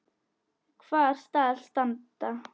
Hvar skal standa?